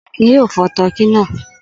Akin yóò fọ tọkí náà!